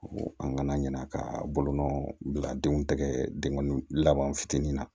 An kana ɲina ka bolonɔ bila denw tɛgɛ denkɔni laban fitini na